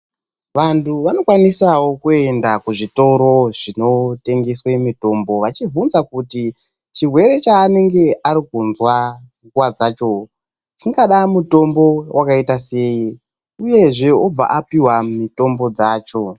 Vantu vanokwanisa kuenda kuzvitoro zvinotengeswa mitombo vachivhunza kuti chirwere chanenge ari kunzwa nguva dzacho chingada mutombo wakaita sei uyezve obva apihwa mitombo dzacho.